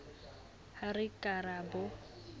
ha re ka ra bo